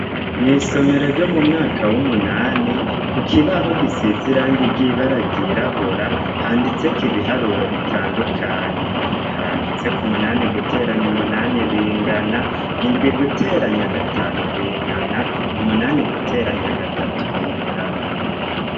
Mw'isomero ryo m'umwaka w'umunani kukibaho gisiz'irangi ry'ibara ryirabura handitsek'ibiharuro bitandukanye. Haranditseko umunani guteranya umunani bingana, indwi guteranya gatanu bingana, umunani guteranya gatatu bingana.